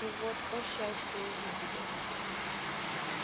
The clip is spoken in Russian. и вот о счастье увидели